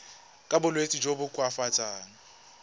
ka bolwetsi jo bo koafatsang